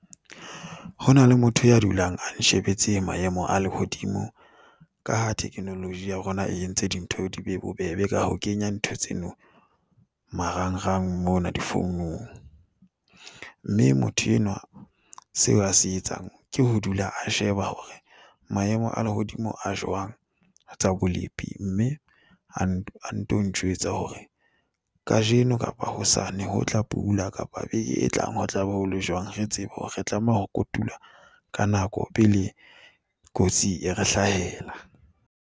Ho na le motho ya dulang a nshebetse maemo a lehodimo ka ha technology ya rona e entse dintho di be bobebe ka ho kenya ntho tseno marangrang mona difounong. Mme motho enwa seo a se etsang ke ho dula a sheba hore maemo a lehodimo a jwang ho tsa bolepi. Mme a nto njwetsa hore kajeno kapa hosane ho tla pula kapo beke e tlang ho tlabe ho le jwang re tsebe hore re tlameha ho kotula ka nako pele kotsi e re hlahela.